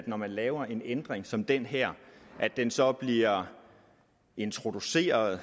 når man laver en ændring som den her at den så bliver introduceret og